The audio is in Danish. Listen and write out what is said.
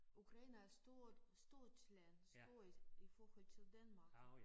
Ukraine er stort stort land stort i i forhold til Danmark